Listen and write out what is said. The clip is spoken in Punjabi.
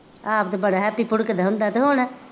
ਆਪ ਤਾਂ ਬੜਾ ਹੈਪੀ ਭੁੜਕਦਾ ਹੁੰਦਾ ਅਤੇ ਹੁਣ